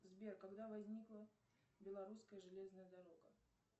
сбер когда возникла белорусская железная дорога